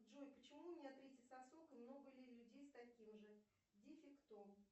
джой почему у меня третий сосок и много ли людей с таким же дефектом